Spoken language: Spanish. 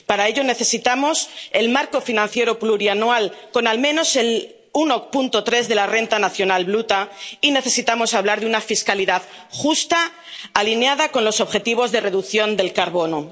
Para ello, necesitamos el marco financiero plurianual con, al menos, el 1,3 de la renta nacional bruta y necesitamos hablar de una fiscalidad justa, alineada con los objetivos de reducción del carbono.